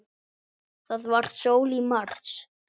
Það var sól í mars.